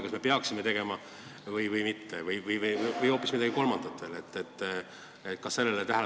Kas me peaksime neid tegema või mitte või tegema hoopis midagi kolmandat?